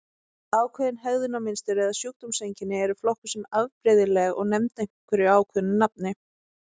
Ákveðin hegðunarmynstur eða sjúkdómseinkenni eru flokkuð sem afbrigðileg og nefnd einhverju ákveðnu nafni.